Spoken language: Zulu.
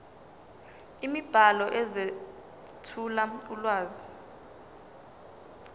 imibhalo ezethula ulwazi